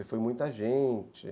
E foi muita gente.